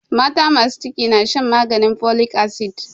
Mata masu ciki na shan maganin folic acid.